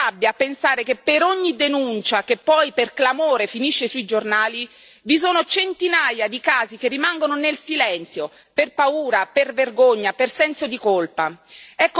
Viene rabbia a pensare che per ogni denuncia, che poi per clamore finisce sui giornali, vi sono centinaia di casi che rimangono nel silenzio per paura, per vergogna, per senso di colpa.